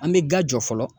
An bɛ ga jɔ fɔlɔ